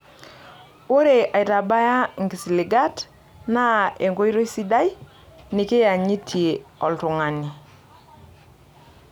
Ore aitabaya nkisiligat naa enkoitoi sidai nikiyanyitie oltung'ani.